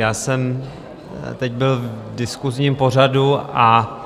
Já jsem teď byl v diskusním pořadu a